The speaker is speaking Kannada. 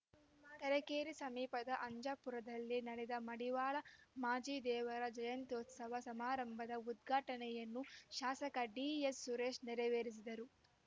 ತರೀಕೆರೆ ಸಮೀಪದ ಅಜ್ಜಂಪುರದಲ್ಲಿ ನಡೆದ ಮಡಿವಾಳ ಮಾಚಿದೇವರ ಜಯಂತ್ಯುತ್ಸವ ಸಮಾರಂಭದ ಉದ್ಘಾಟನೆಯನ್ನು ಶಾಸಕ ಡಿಎಸ್‌ ಸುರೇಶ್‌ ನೆರವೇರಿಸಿದರು